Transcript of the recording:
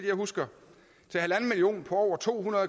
jeg husker på over to hundrede